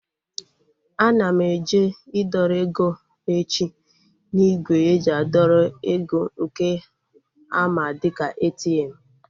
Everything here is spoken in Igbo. Ana m eje idọrọ ego echi n'ígwè eji adọrọ eg nke a ma dịka ATM